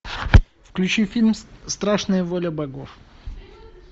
включи фильм страшная воля богов